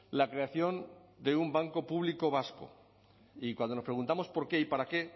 la creación de un banco público vasco y cuando nos preguntamos por qué y para qué